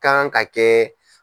K'an ka kɛ.